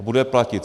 A bude platit.